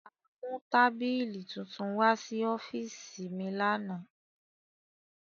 A mu tabili tuntun wa si ọfiisi mi lana.